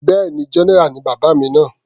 Bẹ́ẹ̀ni, general ni bàbá mi náà.